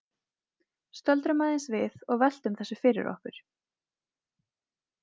Stöldrum aðeins við og veltum þessu fyrir okkur.